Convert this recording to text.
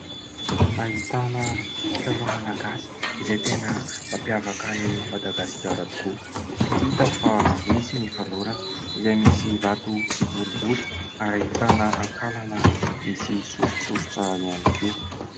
Ahitana kilalao Malagasy izay tena mampiavaka an'i Madagasikara tokoa, hita fa misy ny fanorona izay misy vato kiboribory ary ahitana akalana misy soritsoritra ihany koa.